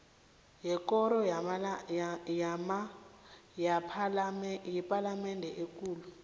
yekoro yepalamende ekulu